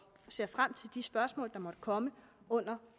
ser frem til de spørgsmål der måtte komme under